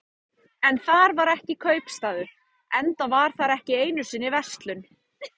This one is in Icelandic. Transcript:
En þar var ekki kaupstaður, enda var þar ekki einu sinni verslun.